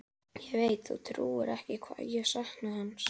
Ég veit þú trúir ekki hvað ég sakna hans.